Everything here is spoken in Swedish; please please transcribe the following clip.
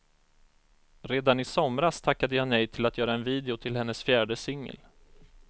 Redan i somras tackade ja nej till att göra en video till hennes fjärde singel.